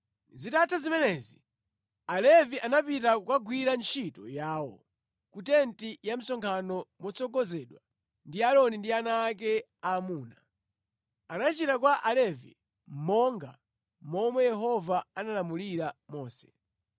Zitatha zimenezi, Alevi anapita kukagwira ntchito yawo ku tenti ya msonkhano motsogozedwa ndi Aaroni ndi ana ake aamuna. Anachita kwa Alevi monga momwe Yehova analamulira Mose.